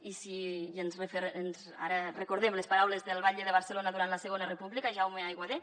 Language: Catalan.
i ara recordem les paraules del batlle de barcelona durant la segona república jaume aiguader